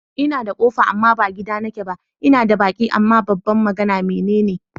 Ina da ƙofa amma ba gida nake ba, ina da baki amma ba ba magana, me neme ni?